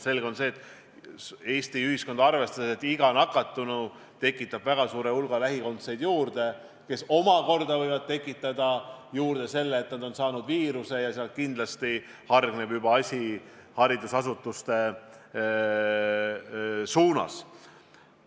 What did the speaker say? Selge on see, et Eesti ühiskonnas tekitab iga nakatanu juurde väga suure hulga lähikondseid, kes omakorda võivad viirust kanda, ja sealt hargneb asi kindlasti juba haridusasutuste suunas.